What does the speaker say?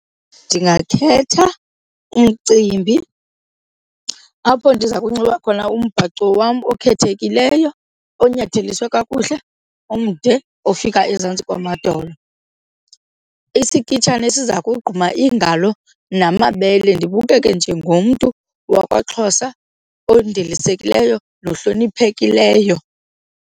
Ndingakhetha umcimbi apho ndiza kunxiba khona umbhaco wam okhethekileyo, onyatheliswe kakuhle, omde ofika ezantsi kwamadolo. Isikitshane esiza kogquma iingalo namabele, ndibukeke njengomntu wakwaXhosa ondilisekileyo nohloniphekileyo.